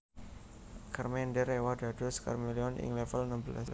Charmander éwah dados Charmeleon ing level enem belas